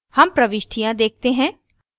हम प्रविष्टियाँ देखते हैं